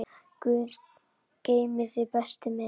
Guð geymi þig, besti minn.